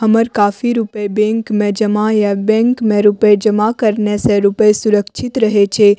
हमर काफी रूपए बैंक में जमा या बैंक में रूपए जमा करने से रूपए सुरक्षित रहे छै।